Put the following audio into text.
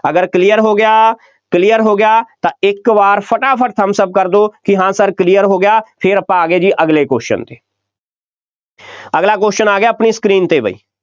ਅਗਰ clear ਹੋ ਗਿਆ clear ਹੋ ਗਿਆ, ਤਾਂ ਇੱਕ ਵਾਰ ਫਟਾਫਟ thumbs up ਕਰ ਦਿਓ ਕਿ ਹਾਂ sir clear ਹੋ ਗਿਆ ਫੇਰ ਆਪਾਂ ਆ ਗਏ ਜੀ ਅਗਲੇ question 'ਤੇ ਅਗਲਾ question ਆ ਗਿਆ ਆਪਣੀ screen 'ਤੇ ਬਈ,